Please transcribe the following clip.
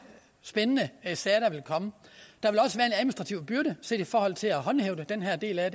spændende sager der vil komme og byrde set i forhold til at håndhæve den her del af